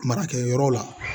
Marakɛyɔrɔ la